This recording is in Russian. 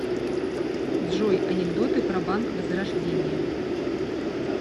джой анекдоты про банк возрождение